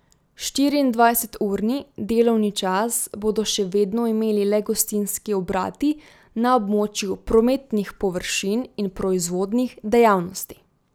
Štiriindvajseturni delovni čas bodo še vedno imeli le gostinski obrati na območju prometnih površin in proizvodnih dejavnosti.